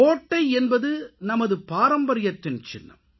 கோட்டை என்பது நமது பாரம்பரியத்தின் சின்னம்